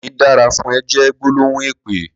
''Kó ni dàrá fùn è'' jè gbólóhún épé